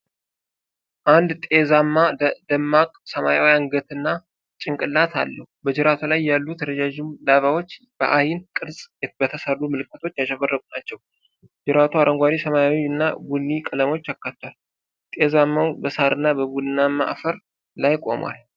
አንድ ጤዛማ ደማቅ ሰማያዊ አንገትና ጭንቅላት አለው። በጅራቱ ላይ ያሉት ረዥም ላባዎች በዐይን ቅርጽ በተሠሩ ምልክቶች ያሸበረቁ ናቸው። ጅራቱ አረንጓዴ፣ ሰማያዊ እና ቡኒ ቀለሞችን አካቷል። ጤዛማው በሳርና በቡናማ አፈር ላይ ቆሟል።